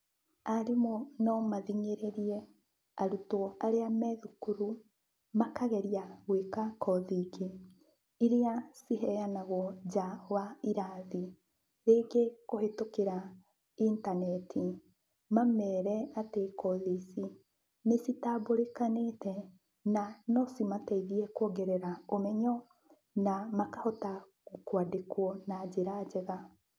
Arimũ no mathing'ĩrĩrie arutwo arĩa me thukuru makageria gwĩka kothi ingĩ iria ciheanagwo nja wa irathi, rĩngĩ kũhetũkĩra intaneti mamere atĩ kothi ici nĩ citambũrĩkanĩte na no cimateithie kuongerera ũmenyo na makahota kwandĩkwo na njĩra njega.